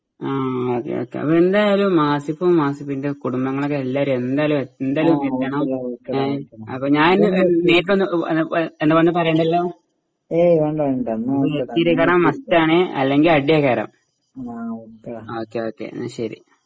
ആ ആ അതെയതെ എന്തായാലും ആസിഫും ആസിഫിന്റെ കുടുംബങ്ങളൊക്കെ എല്ലാരും എന്തായാലും എന്തായാലും എത്തണം അപ്പൊ ഞാനിനി നേരിട്ട് വ വ വ വന്നു പറയണ്ടല്ലോ കാരണം എത്തിക്കണേ മസ്റ്റണെ അല്ലങ്കിൽ അടിയ ഹരം ആ ഓക്കേ ഓക്കേ